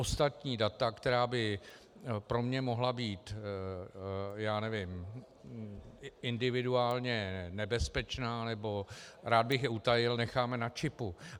Ostatní data, která by pro mě mohla být, já nevím, individuálně nebezpečná nebo rád bych je utajil, necháme na čipu.